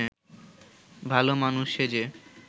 ভালমানুষ সেজে